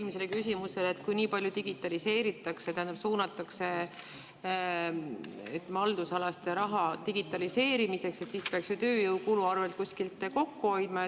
Minu eelmine küsimus oli, et kui nii palju digitaliseeritakse, suunatakse haldusalas raha digitaliseerimiseks, siis peaks ju saama tööjõukulu kuskil kokku hoida.